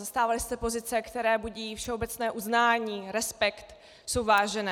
Zastávali jste pozice, které budí všeobecné uznání, respekt, jsou vážené.